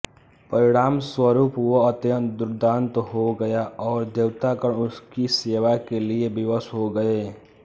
परिणामस्वरूप वह अत्यन्त दुर्दान्त हो गया और देवतागण उसकी सेवा के लिये विवश हो गए